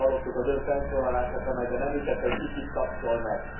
Az imént hallottuk az Ön felszólalását, amelyben említette, hogy ki kit tapsol meg.